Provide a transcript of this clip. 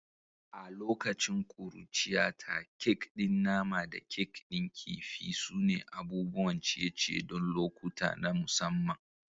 A lokacin ƙuruciyata, kek din nama da kek din kifi sune abubuwan ciye-ciye don lokuta na musamman.